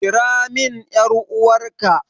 Kira min ƴar'uwarka!